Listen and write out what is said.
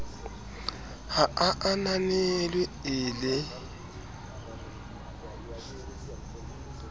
ha a ananelwe e le